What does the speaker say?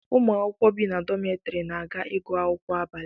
Ụmụ akwụkwọ bi n'ime dọmetiri na-aga ịgụ akwụkwọ abalị